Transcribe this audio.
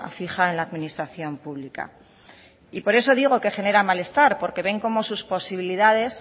fija en la administración pública y por eso digo que genera malestar porque ven cómo sus posibilidades